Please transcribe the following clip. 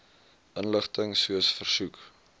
inligting soos versoek